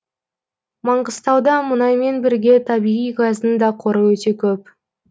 маңғыстауда мұнаймен бірге табиғи газдың да қоры өте көп